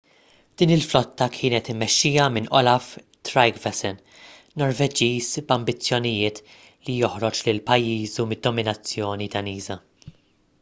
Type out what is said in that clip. din il-flotta kienet immexxija minn olaf trygvasson norveġiż b'ambizzjonijiet li joħroġ lil pajjiżu mid-dominazzjoni daniża